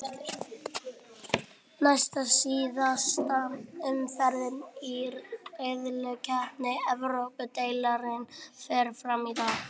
Næst síðasta umferðin í riðlakeppni Evrópudeildarinnar fer fram í dag.